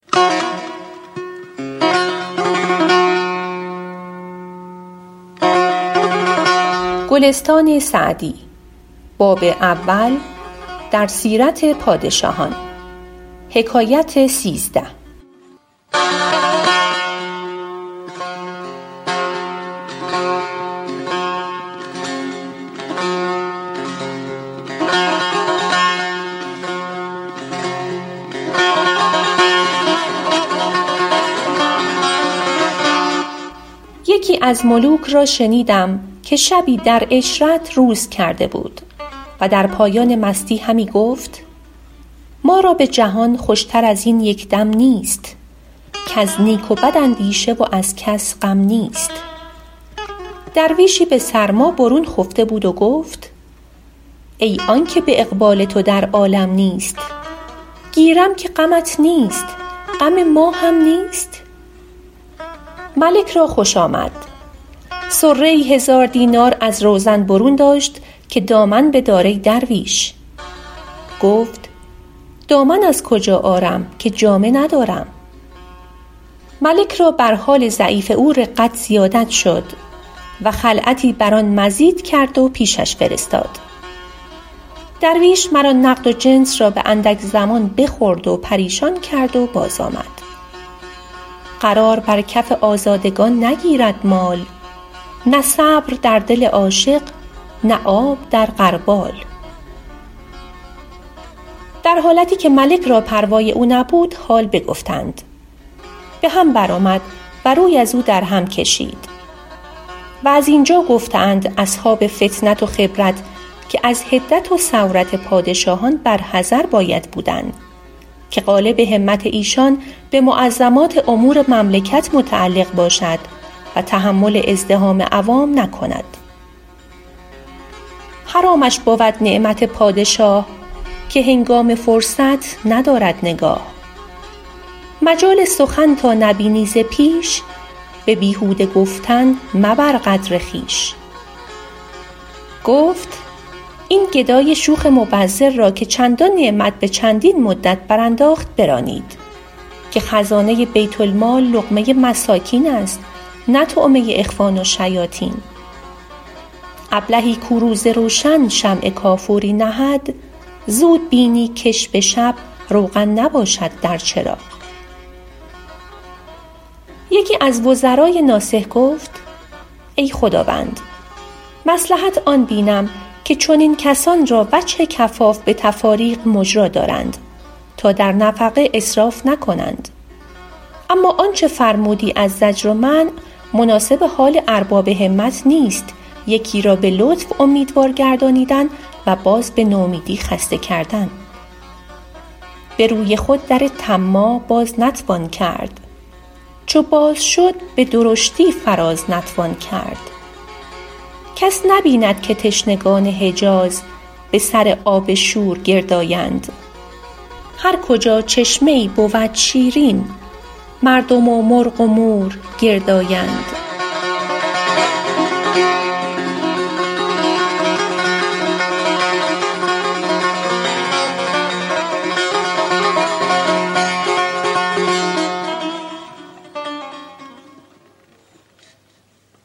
یکی از ملوک را شنیدم که شبی در عشرت روز کرده بود و در پایان مستی همی گفت ما را به جهان خوش تر از این یک دم نیست کز نیک و بد اندیشه و از کس غم نیست درویشی به سرما برون خفته بود و گفت ای آن که به اقبال تو در عالم نیست گیرم که غمت نیست غم ما هم نیست ملک را خوش آمد صره ای هزار دینار از روزن برون داشت که دامن بدار ای درویش گفت دامن از کجا آرم که جامه ندارم ملک را بر حال ضعیف او رقت زیادت شد و خلعتی بر آن مزید کرد و پیشش فرستاد درویش مر آن نقد و جنس را به اندک زمان بخورد و پریشان کرد و باز آمد قرار بر کف آزادگان نگیرد مال نه صبر در دل عاشق نه آب در غربال در حالتی که ملک را پروای او نبود حال بگفتند به هم بر آمد و روی ازو در هم کشید و زین جا گفته اند اصحاب فطنت و خبرت که از حدت و سورت پادشاهان بر حذر باید بودن که غالب همت ایشان به معظمات امور مملکت متعلق باشد و تحمل ازدحام عوام نکند حرامش بود نعمت پادشاه که هنگام فرصت ندارد نگاه مجال سخن تا نبینی ز پیش به بیهوده گفتن مبر قدر خویش گفت این گدای شوخ مبذر را که چندان نعمت به چندین مدت برانداخت برانید که خزانه بیت المال لقمه مساکین است نه طعمه اخوان الشیاطین ابلهی کو روز روشن شمع کافوری نهد زود بینی کش به شب روغن نباشد در چراغ یکی از وزرای ناصح گفت ای خداوند مصلحت آن بینم که چنین کسان را وجه کفاف به تفاریق مجرا دارند تا در نفقه اسراف نکنند اما آنچه فرمودی از زجر و منع مناسب حال ارباب همت نیست یکی را به لطف اومیدوار گردانیدن و باز به نومیدی خسته کردن به روی خود در طماع باز نتوان کرد چو باز شد به درشتی فراز نتوان کرد کس نبیند که تشنگان حجاز به سر آب شور گرد آیند هر کجا چشمه ای بود شیرین مردم و مرغ و مور گرد آیند